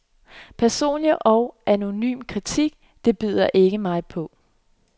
Personlig og anonym kritik, det bider ikke på mig.